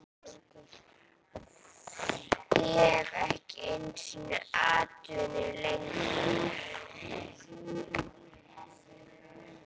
Ég hef ekki einu sinni atvinnu lengur